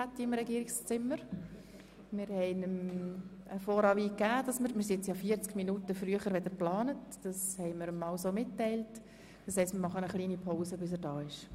– Wir haben Herrn Regierungspräsidenten Pulver mitteilen lassen, dass wir etwas früher bereit sind, und unterbrechen hier die Sitzung, bis er eintrifft.